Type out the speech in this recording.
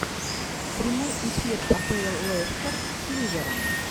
прямой эфир апл лестер с ливером